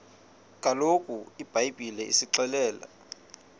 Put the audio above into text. kaloku ibhayibhile isixelela